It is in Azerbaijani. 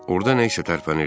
Orda nə isə tərpənirdi.